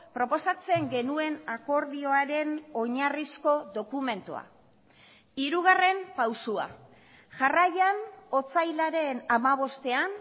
proposatzen genuen akordioaren oinarrizko dokumentua hirugarren pausua jarraian otsailaren hamabostean